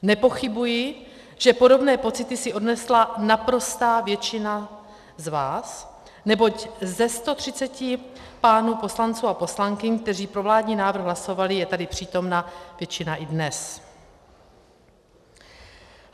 Nepochybuji, že podobné pocity si odnesla naprostá většina z vás, neboť ze 130 pánů poslanců a poslankyň, kteří pro vládní návrh hlasovali, je tady přítomna většina i dnes.